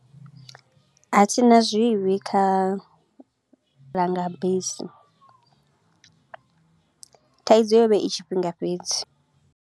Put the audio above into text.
A thi na zwivhi kha langa bisi, thaidzo yo vha i tshifhinga fhedzi.